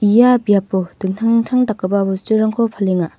ia biapo dingtang dingtang dakgipa bosturangko palenga.